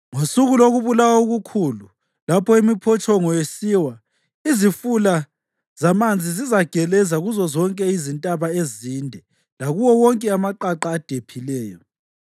Ngosuku lokubulawa okukhulu, lapho imiphotshongo isiwa, izifula zamanzi zizageleza kuzozonke izintaba ezinde lakuwo wonke amaqaqa adephileyo.